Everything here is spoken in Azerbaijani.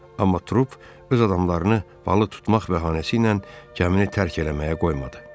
Amma trup öz adamlarını balıq tutmaq bəhanəsi ilə gəmini tərk eləməyə qoymadı.